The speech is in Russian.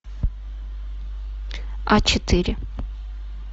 а четыре